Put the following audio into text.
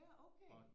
Ja okay